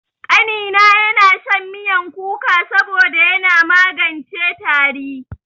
Ƙanina yana shan miyan kuka saboda yana magance tari.